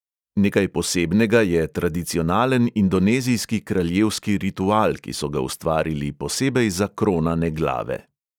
Nekaj posebnega je tradicionalen indonezijski kraljevski ritual, ki so ga ustvarili posebej za kronane glave.